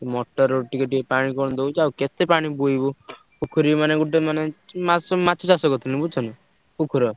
Motor ରୁ ଟିକେ ଟିକେ ପାଣି କଣ ଦଉଚି ଆଉ କେତେ ପାଣି ବୋହିବୁ ପୋଖରୀରୁ ମାନେ ଗୋଟେ ମାନେ ମା ମାଛ ଚାଷ କରିଥିଲୁ ବୁଝୁଛନା ।